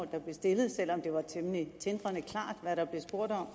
der blev stillet selv om det var temmelig tindrende klart hvad der blev spurgt om